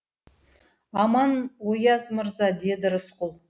аман ояз мырза деді рысқұл